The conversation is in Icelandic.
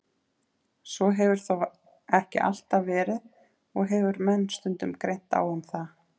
Svo hefur þó ekki alltaf verið og hefur menn stundum greint á um það.